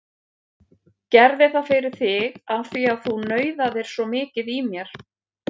Gerði það fyrir þig af því að þú nauðaðir svo mikið í mér.